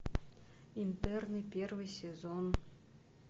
интерны первый сезон